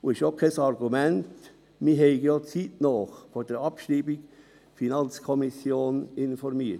Es ist auch kein Argument, man habe ja die FiKo zeitnah vor der Abschreibung informiert.